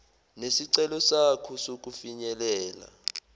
nesicelo sakho sokufinyelela